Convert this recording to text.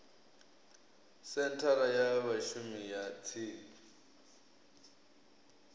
senthara ya vhashumi ya tsini